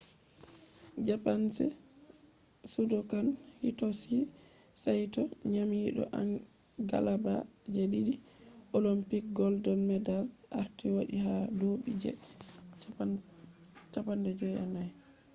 japanese judokan hitoshi saito nyamido galaba je didi olympic gold medals arti wati ha dubi je 54